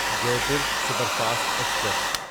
Jaipur superfast express